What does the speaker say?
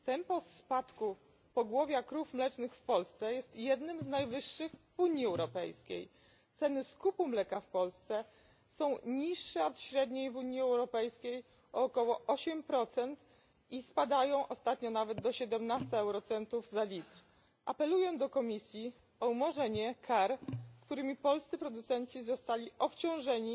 Tempo spadku pogłowia krów mlecznych w Polsce jest jednym z najwyższych w Unii Europejskiej, ceny skupu mleka w Polsce są niższe od średniej w Unii Europejskiej o około 8 procent i spadają ostatnio nawet do 17 eurocentów za litr. Apeluję do Komisji o umorzenie kar, którymi polscy producenci zostali obciążeni